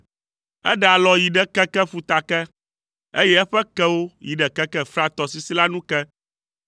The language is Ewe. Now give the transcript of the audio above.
Eɖe alɔ yi ɖe keke ƒuta ke, eye eƒe kewo yi ɖe keke Frat tɔsisi la nu ke.